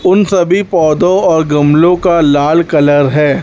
उन सभी पौधो और गमलों का लाल कलर है।